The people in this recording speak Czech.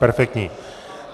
Perfektní.